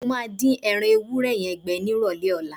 Mo máa dín ẹran ewúrẹ́ yẹn gbẹ nírọ̀lẹ́ ọ̀la.